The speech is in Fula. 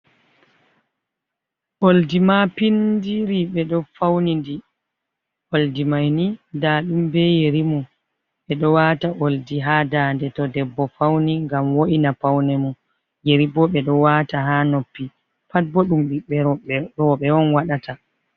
Oldi mapindiri ɓeɗo fauni ndi oldimaini nda ɗum be yerimum, ɓeɗo wata oldi ha dande to debbo fauni ngam wo'ina paune mum yeribo ɓeɗo wata ha noppi pat boɗɗum ɓiɓɓe rowɓe on waɗata.